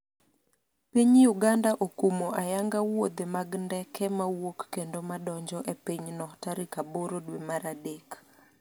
piny Uganda okumo ayanga wuodhe mag ndeke mawuok kendo madonjo e pinyno tarik aboro dwe mar adek